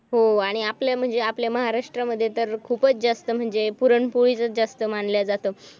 हो आणि आपले म्हणजे आपल्या महाराष्ट्रामध्ये तर खूपच जास्त म्हणजे पुरणपोळीचच जास्त मानल्या जात.